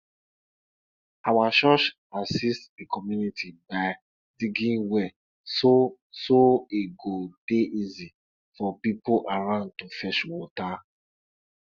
every night wen dem wen dem dey tell story for every village dem still de tell de story about de hoe wey lose